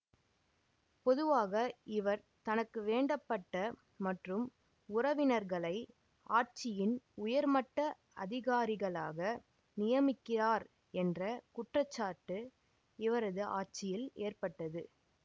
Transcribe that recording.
பொதுவாக இவர் தனக்கு வேண்டப்பட்ட மற்றும் உறவினர்களை ஆட்சியின் உயர்மட்ட அதிகாரிகளாக நியமிக்கிறார் என்ற குற்றச்சாட்டு இவரது ஆட்சியில் ஏற்பட்டது